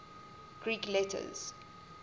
greek letters